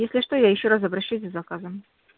если что я ещё раз обращусь с заказом